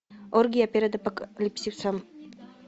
оргия перед апокалипсисом